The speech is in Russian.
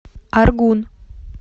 аргун